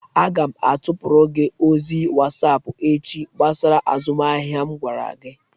Aga m atụpụrụ gị ozi whatapp echi gbasara azụmahịa m gwara gị.